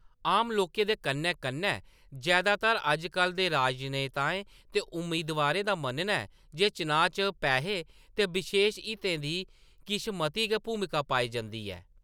आम लोकें दे कन्नै-कन्नै जैदातर अज्ज कल्ल दे राजनेताएं ते उम्मीदवारें दा मन्नना ​​ऐ जे चुनांऽ च पैहें ते बशेश हितें दी किश मती गै भूमका पाई जंदी ऐ।